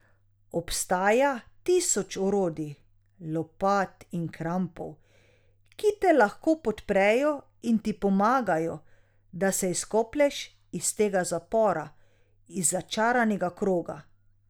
Obstaja tisoč orodij, lopat in krampov, ki te lahko podprejo in ti pomagajo, da se izkoplješ iz tega zapora, iz začaranega kroga.